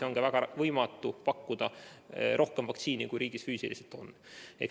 On võimatu pakkuda rohkem vaktsiini, kui riigis füüsiliselt olemas on.